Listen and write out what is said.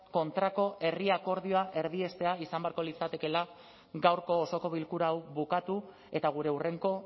kontrako herri akordioa erdiestea izan beharko litzatekeela gaurko osoko bilkura hau bukatu eta gure hurrengo